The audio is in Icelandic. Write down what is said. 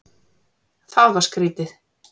Það var skrítið.